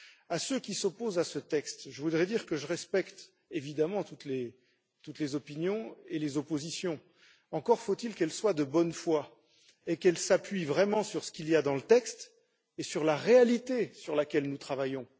À ceux qui s'opposent à ce texte, je voudrais dire que je respecte évidemment toutes les opinions et les oppositions, encore faut il qu'elles soient de bonne foi et qu'elles s'appuient vraiment sur ce qu'il y a dans le texte et sur la réalité sur laquelle nous travaillons.